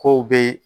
K'o be